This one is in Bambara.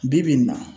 Bi bi in na